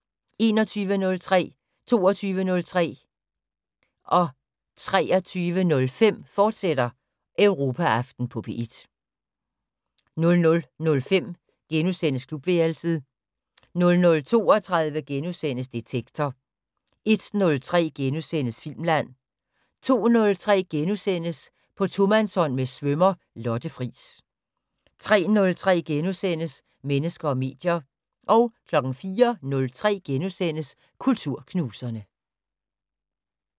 21:03: Europaaften på P1, fortsat 22:03: Europaaften på P1, fortsat 23:05: Europaaften på P1, fortsat 00:05: Klubværelset * 00:32: Detektor * 01:03: Filmland * 02:03: På tomandshånd med svømmer Lotte Friis * 03:03: Mennesker og medier * 04:03: Kulturknuserne *